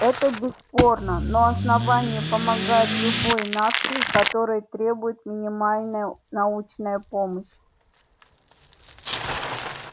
это бесспорно но основание помогает любой нации которой требует минимальная научная помощь